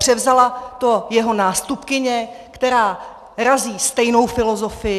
Převzala to jeho nástupkyně, která razí stejnou filozofii.